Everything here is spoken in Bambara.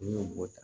N'i y'o bɔ